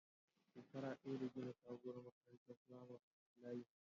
Shekara ɗaya da gina sabuwar makarantar firamare din layin mu